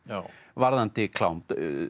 varðandi klám